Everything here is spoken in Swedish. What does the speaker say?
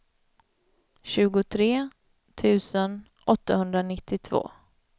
tjugotre tusen åttahundranittiotvå